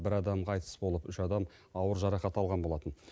бір адам қайтыс болып үш адам ауыр жарақат алған болатын